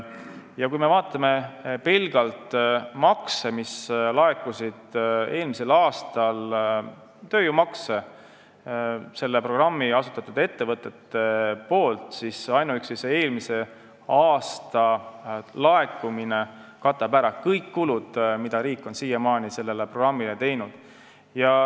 Ja kui me vaatame pelgalt tööjõumakse, mis on tulnud asutatud ettevõtetelt, siis ainuüksi eelmise aasta laekumine katab ära kõik kulud, mida riik on siiamaani sellele programmile teinud.